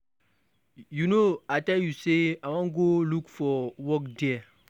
You know I tell you say I wan go look for work there.